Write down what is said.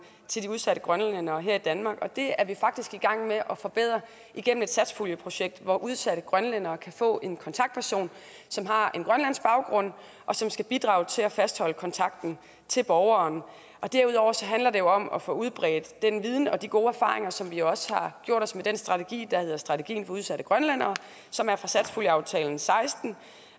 til de udsatte grønlændere her i danmark det er vi faktisk i gang med at forbedre igennem et satspuljeprojekt hvor udsatte grønlændere kan få en kontaktperson som har en grønlandsk baggrund og som skal bidrage til at fastholde kontakten til borgeren derudover handler det jo om at få udbredt den viden og de gode erfaringer som vi også har gjort os med den strategi der hedder strategien for socialt udsatte grønlændere som er fra satspuljeaftalen seksten